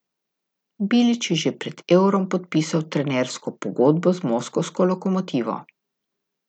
Bilić je že pred Eurom podpisal trenersko pogodbo z moskovsko Lokomotivo.